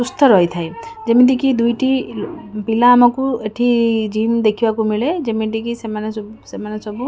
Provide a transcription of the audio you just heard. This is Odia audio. ସୁସ୍ଥ ରହିଥାଏ ଯେମିତିକି ଦୁଇଟି ପିଲା ଆମକୁ ଏଠି ଜିମ୍ ଦେଖିବାକୁ ମିଳେ ଯେମିତିକି ସେମାନେ ସବୁ ସେମାନେ ସବୁ --